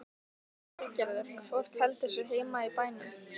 Lillý Valgerður: Fólk heldur sig heima í bænum?